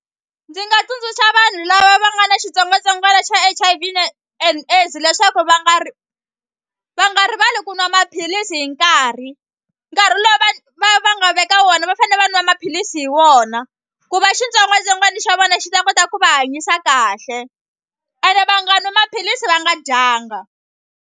Ndzi nga tsundzuxa vanhu lava va nga na xitsongwatsongwana xa H_I_V and AIDS leswaku va nga va nga rivali ku nwa maphilisi hi nkarhi nkarhi lowu va va va nga veka wona va fane va nwa maphilisi hi wona ku va xitsongwatsongwani xa vona xi ta kota ku va hanyisa kahle ene va nga nwi maphilisi va nga dyanga.